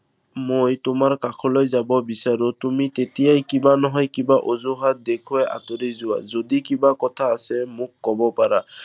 মই তোমাৰ কাষলৈ যাব বিচাৰো, তুমি তেতিয়াই কিবা নহয় কিবা অঁজুহাত দেখুৱাই আঁতৰি যোৱা। যদি কিবা কথা আছে মোক ক'ব পাৰা।